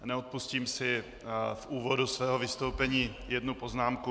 Neodpustím si v úvodu svého vystoupení jednu poznámku.